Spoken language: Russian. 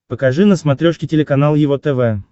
покажи на смотрешке телеканал его тв